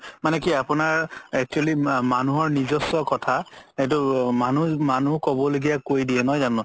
মানে কি আপুনাৰ actually মানুহৰ নিজস্ব কথা সেইটো মানুহ, মানুহ ক'ব লগিয়াই কই দিয়ে নহয় জানো